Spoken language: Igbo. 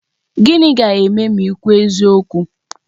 Gịnị ga-eme ma ị kwuo eziokwu?